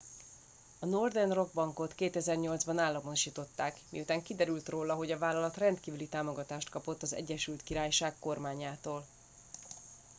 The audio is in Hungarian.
a northern rock bankot 2008 ban államosították miután kiderült róla hogy a vállalat rendkívüli támogatást kapott az egyesült királyság kormányától